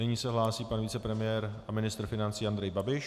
Nyní se hlásí pan vicepremiér a ministr financí Andrej Babiš.